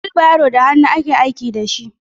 wilbaro da hannu ake aiki da su.